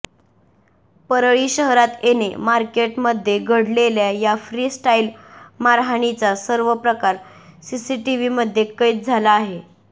परळी शहरात येणे मार्केटमध्ये घडलेल्या या फ्री स्टाईल मारहाणीचा सर्व प्रकार सीसीटीव्हीमध्ये कैद झाला आहे